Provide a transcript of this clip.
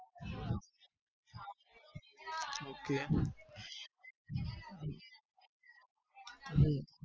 Okay હમ